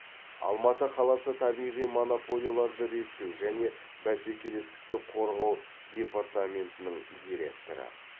алматы қаласы табиғи монополияларды реттеу және бәсекелестікті қорғау департаментінің директоры